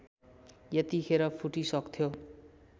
यतिखेर फुटिसक्थ्यो